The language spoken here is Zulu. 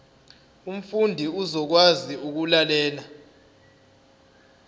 umfundi uzokwazi ukulalela